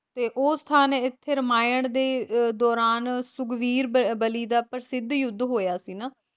ਤੇ ਉਹ ਸਥਾਨ ਇੱਥੇ ਰਮਾਇਣ ਦੇ ਦੌਰਾਨ ਸੁਗਰੀਵ ਬਲਿ ਦਾ ਪ੍ਰਸਿੱਧ ਯੁੱਧ ਹੋਇਆ ਸੀ ਨਾ,